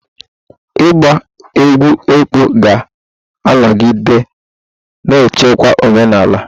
Ịgba egwú ekpo ga-anọgide na-echekwa omenala.